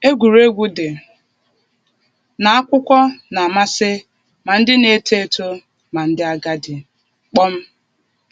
Egwuregwu dị n’akwụkwọ na-amasị ma ndị na-eto eto ma ndị agadi.